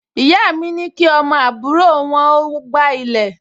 Ìyá mi ní kí ọmọ àbúrò wọn ó gbá ilẹ̀